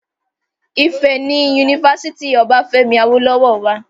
Ìfẹ́ ni Unifásítì Obáfẹ́mi Awólọ́wọ̀ wà